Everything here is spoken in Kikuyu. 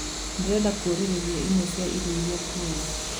ndīrenda kūrīrīria imwe cia irio iria nguoya